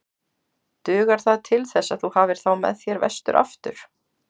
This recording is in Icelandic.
Dugar það til þess að þú hafir þá með þér vestur aftur?